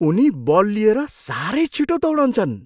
उनी बल लिएर साह्रै छिटो दौडन्छन्!